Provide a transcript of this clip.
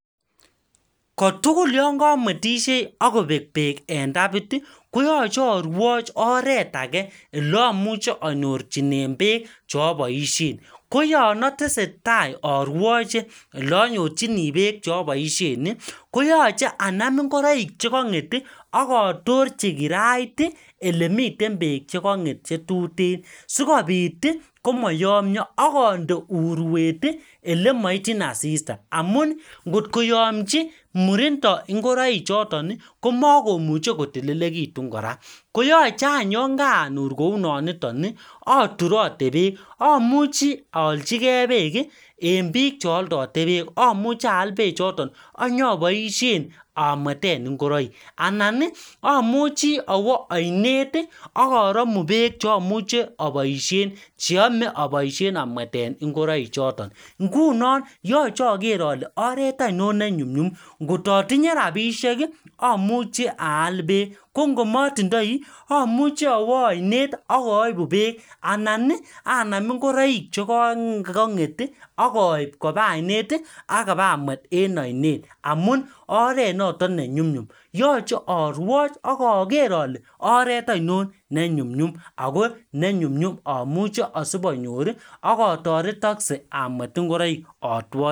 kotugul yongo komwetishei ak kobek beek en tapit ii koyoche arwoch oret age ele amuche anyorunen beek cheoboishen koyon otesetai arwoche ele anyorchini beek cheoboishenii koyoche anam chekong'et ii ak otorchi kirait ii elemiten beek chekong'et chetutensikopit komoyomio akonde urwet ii ele moityin asista amun ngot koyomchi murindo ngoroi choton ii komokomuche kotililekitun kora koyoche any yoon kaanur kounonitok iii aturote beek amuchi aalchi gee beek ii en biik cheoldote beek amuche aal bechoto ak inyoboishen amweten ngoroik anan amuchi awoo oinet ii ak oromu bek cheomuchi oboishen cheyome oboishen amweten ngoroi choton ngunon yoche ager ole oret ainon nenyunyum ngoto atinye rapishek amuche aal beek ko ngo motindoi amuche awo oinet ak oibu beek anan anam ngoroik chekukong'et ii akoib kopa ainet ii ak iba mwet en oinet amun oret notok nenyunyum yoche arwochak oger ole oret ainon nenyunyum ago amuche isib anyor ii ak otoretokse agamwet ngoroik